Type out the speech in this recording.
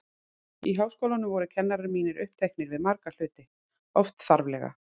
Í Háskólanum voru kennarar mínir uppteknir við marga hluti, oft þarflega.